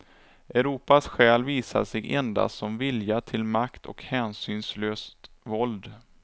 Europas själ visar sig endast som vilja till makt och hänsynslöst våld.